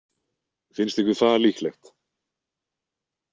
Finnst ykkur það líklegt?